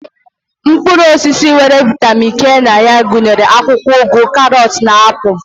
Mkpụrụ osisi nwere vitamin K na ya gụnyere akwụkwọ ụgụ, karọt na na apụl.